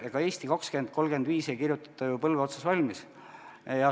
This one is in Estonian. Ega "Eesti 2035" ei kirjutata ju põlve otsas valmis.